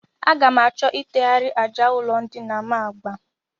Aga m achọ itegharị àjà ụlọndina m agba